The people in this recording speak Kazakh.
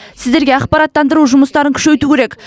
сіздерге ақпараттандыру жұмыстарын күшейту керек